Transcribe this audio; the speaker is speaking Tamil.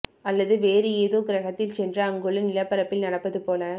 அல்லது வேறு ஏதோ கிரகத்தில் சென்று அங்குள்ள நிலப்பரப்பில் நடப்பது போல